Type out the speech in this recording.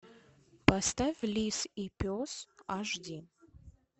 поставь лис и пес аш ди